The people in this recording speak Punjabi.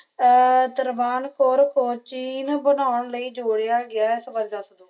ਆ ਤਰਵਾਨ ਕੋਣ ਚੀਨ ਬਬਣੋਂ ਲਈ ਜੋੜਿਆ ਗਇਆ